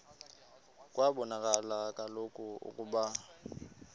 kwabonakala kaloku ukuba